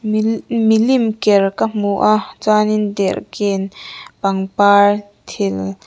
mili milim ker ka hmu a chuanin derhken pangpar thil--